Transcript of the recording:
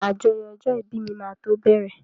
Àjọyọ̀ ọjọ́ ìbí mi máa tó bẹ̀rẹ̀.